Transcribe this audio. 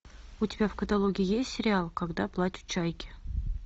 у тебя в каталоге есть сериал когда плачут чайки